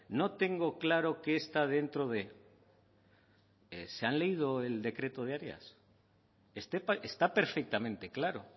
no tengo claro qué está dentro de se han leído el decreto de áreas está perfectamente claro